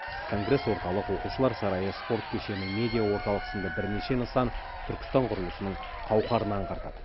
конгресс орталық оқушылар сарайы спорт кешені медиа орталық сынды бірнеше нысан түркістан құрылысының қауқарын аңғартады